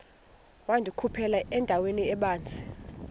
wandikhuphela endaweni ebanzi